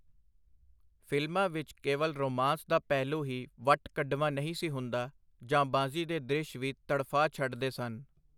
ਫਿਲਮਾਂ ਵਿਚ ਕੇਵਲ ਰੋਮਾਂਸ ਦਾ ਪਹਿਲੂ ਹੀ ਵੱਟ-ਕੱਢਵਾਂ ਨਹੀਂ ਸੀ ਹੁੰਦਾ, ਜਾਂਬਾਜ਼ੀ ਦੇ ਦ੍ਰਿਸ਼ ਵੀ ਤੜਫਾ ਛਡਦੇ ਸਨ.